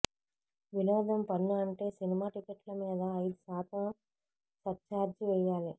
వినోదం పన్ను అంటే సినిమా టిక్కెట్లమీద ఐదు శాతం సర్ఛార్జి వెయ్యాలి